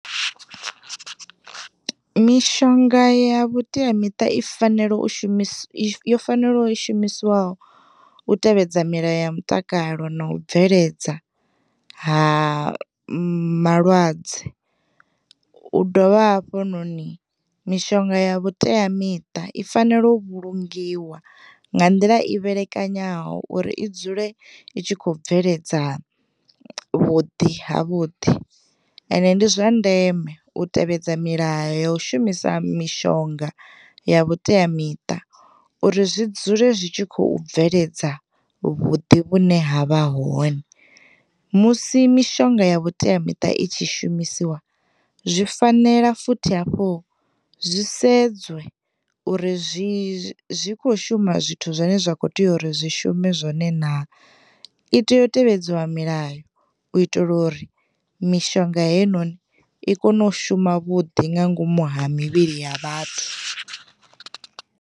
Mishonga ya vhuteamiṱa I fanela, yo fanelaho u shumisiwa u tevhedza milayo ya mutakalo na u bveledza ha malwadze u dovha hafhanoni mishonga ya vhuteamiṱa I tea u vhulungiwa nga nḓila i vhelekanyaho uri i dzule i kho bveledza vhuḓi ha vhuḓi, ende ndi zwa ndeme u tevhedza milayo ya u shumisa mishonga ya vhuteamiṱa uri zwi dzule zwi tshi khou bveledza vhuḓi vhune ha vha hone. Musi mishonga ya vhuteamiṱa i tshi shumisiwa zwi fanela futhi hafhu zwi sedzwe uri zwi, zwi kho shuma zwithu zwane zwa kho tea uri zwi shume zwone na, I tea u tevhedziwa milayo u itela uri mishonga heinoni i kone u shuma vhuḓi nga ngomu ha mivhili ya vhathu.